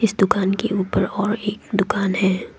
इस दुकान के ऊपर और एक दुकान है।